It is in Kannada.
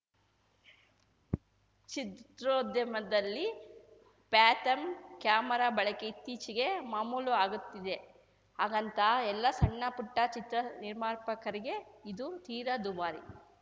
ಚಿತ್ರೋದ್ಯಮದಲ್ಲಿ ಪ್ಯಾಥಮ್‌ ಕ್ಯಾಮರಾ ಬಳಕೆ ಇತ್ತೀಚೆಗೆ ಮಾಮೂಲು ಆಗುತ್ತಿದೆ ಹಾಗಂತ ಎಲ್ಲಾ ಸಣ್ಣ ಪುಟ್ಟಚಿತ್ರ ನಿರ್ಮಾಪಕರಿಗೆ ಇದು ತೀರಾ ದುಬಾರಿ